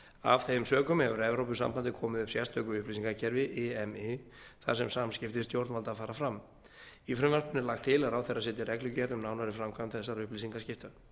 af þeim sökum hefur evrópusambandið komið upp sérstöku upplýsingakerfi imi þar sem samskipti stjórnvalda fara fram í frumvarpinu er lagt til að ráðherra setji reglugerð um nánari framkvæmd þessara upplýsingaskipta